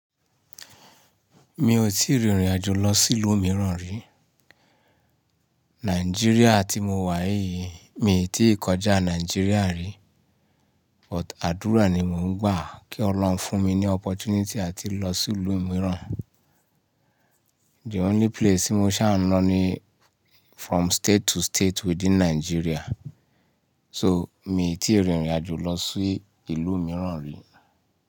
Mi ò tí ì rín ìrìnàjò lọ sí ìlú mìíràn rí. Nigeria tí mo wà yìí, mii tí ì kọjá Nigeria rí. But àdúrà ni mò ń gbà kí Olọ́run fún mi ní opportunity áti lọ sí ìlú mìíràn. The only place tí mo ṣáá ń lọ ni from state to state within Nigeria. So, mii tí ì rín ìrìnàjò lọ sí ìlú mìíràn rí.